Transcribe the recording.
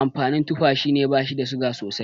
Amfanin tufa shine bashi da suga sosai